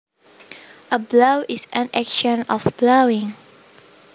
A blow is an action of blowing